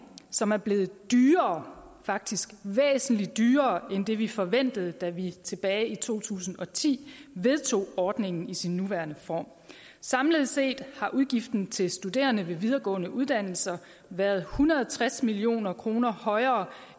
som er blevet dyrere faktisk væsentlig dyrere end det vi forventede da vi tilbage i to tusind og ti vedtog ordningen i sin nuværende form samlet set har udgiften til studerende ved videregående uddannelser været hundrede og tres million kroner højere